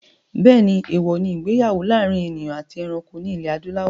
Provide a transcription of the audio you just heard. Bẹ́ẹ̀ni, èwọ̀ ní ìgbéyàwó láàrin èèyàn àti ẹranko ní ilẹ̀ adúláwọ̀